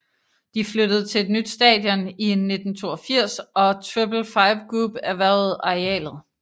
De flyttede til et nyt stadion i 1982 og Triple Five Group erhvervede arealet